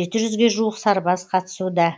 жеті жүзге жуық сарбаз қатысуда